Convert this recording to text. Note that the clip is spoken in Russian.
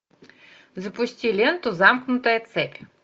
запусти ленту замкнутая цепь